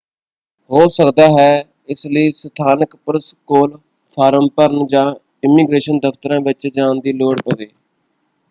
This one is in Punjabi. ਹੋ ਸਕਦਾ ਹੈ ਇਸ ਲਈ ਸਥਾਨਕ ਪੁਲਿਸ ਕੋਲ ਫ਼ਾਰਮ ਭਰਨ ਜਾਂ ਇਮੀਗ੍ਰੇਸ਼ਨ ਦਫ਼ਤਰਾਂ ਵਿੱਚ ਜਾਣ ਦੀ ਲੋੜ ਪਵੇ।